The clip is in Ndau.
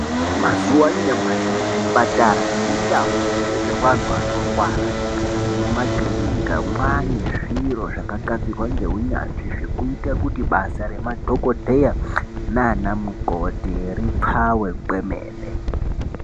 Mazuwa anyamashi muzvipatara nemundau dzinobetserwa antu anorwara nemumakirinika manezviro zvakagadzirwa ngeunyanzvi zvekuite kuti basarema dhokodheya nanamukoti ripfawe kwemene